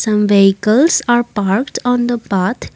some vehicles are parked on the path.